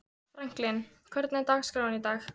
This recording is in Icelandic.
Franklín, hvernig er dagskráin í dag?